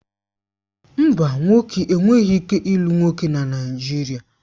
Mba, nwoke enweghị ike ịlụ nwoke na Naijiria